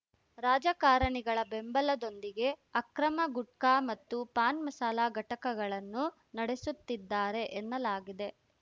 ರಾಜಕಾರಣಿಗಳ ಬೆಂಬಲದೊಂದಿಗೆ ಅಕ್ರಮ ಗುಟ್ಕಾ ಮತ್ತು ಪಾನ್‌ಮಸಾಲ ಘಟಕಗಳನ್ನು ನಡೆಸುತ್ತಿದ್ದಾರೆ ಎನ್ನಲಾಗಿದೆ